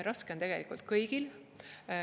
Raske on tegelikult kõigil.